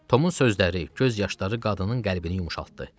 Tomun sözləri, göz yaşları qadının qəlbini yumşaltdı.